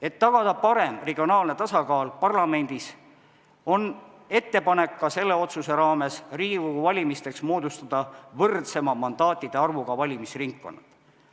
Et tagada parem regionaalne tasakaal parlamendis, on ka selle otsuse raames ettepanek Riigikogu valimisteks moodustada võrdsema mandaatide arvuga valimisringkonnad.